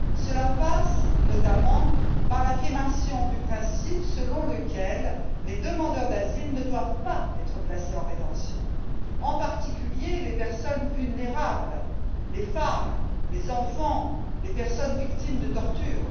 Cela passe, notamment, par l'affirmation du principe selon lequel les demandeurs d'asile ne doivent pas être placés en rétention, en particulier les personnes vulnérables, les femmes, les enfants, les personnes victimes de tortures.